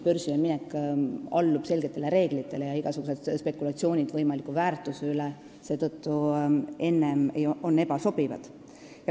Börsile minek allub selgetele reeglitele ja igasugused varajased spekulatsioonid võimaliku väärtuse teemal on ebasobivad.